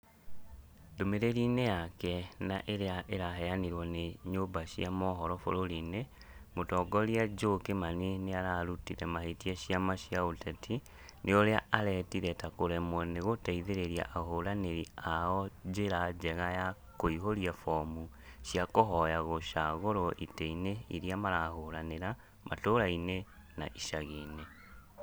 Ndumĩrĩri-inĩyake na ĩrĩa ĩraheanirwo nĩ nyũmba cia mohoro bũrũri-inĩ, mũtongoria Joe Kimani nĩararutĩte mahĩtia ciama cia ũteti nĩ ũrĩa aretire ta kũremwo nĩ gũteithĩrĩria ahũranĩri ao njĩra njega ya kũihuria bomu cia kũhoya gũcagũrwo itĩ-inĩ irĩa marahũranĩra matũraini na icagi-inĩ